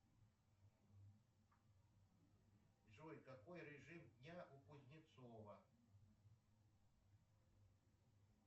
джой какой режим дня у кузнецова